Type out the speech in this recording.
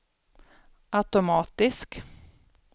automatisk